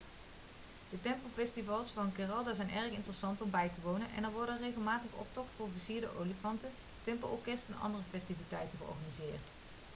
de tempelfestivals van kerala zijn erg interessant om bij te wonen en er worden regelmatig optocht van versierde olifanten tempelorkest en andere festiviteiten georganiseerd